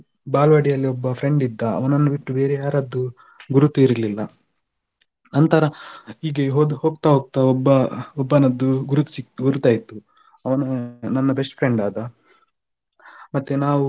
ಬಾಲವಾಡಿಯಲ್ಲೊಬ್ಬ friend ಇದ್ದ ಅವನನ್ನು ಬಿಟ್ಟು ಬೇರೆ ಯಾರದ್ದು ಗುರುತು ಇರ್ಲಿಲ್ಲ ನಂತರ ಹೀಗೆ ಹೋಗ್ತಾ ಹೋಗ್ತಾ ಒಬ್ಬ ಒಬ್ಬನದ್ದು ಗುರುತು ಸಿಗ್ತು ಗುರ್ತ ಆಯ್ತು ಅವನು ನನ್ನ best friend ಆದ ಮತ್ತೇ ನಾವು,